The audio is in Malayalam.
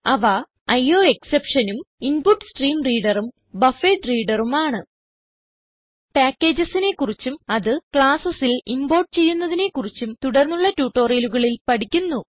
അവ IOExceptionഉം ഇൻപുട്സ്ട്രീംറീംറീഡർ ഉം BufferedReaderഉം ആണ് packagesനെ കുറിച്ചും അത് classesൽ ഇംപോർട്ട് ചെയ്യുന്നതിനെ കുറിച്ചും തുടർന്നുള്ള ട്യൂട്ടോറിയലുകളിൽ പഠിക്കുന്നു